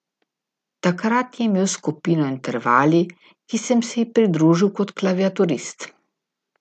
Takrat je imel skupino Intervali, ki sem se ji pridružil kot klaviaturist.